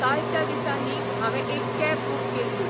कालच्या दिसा न्ही हांवें एक कॅब बूक केल्ली.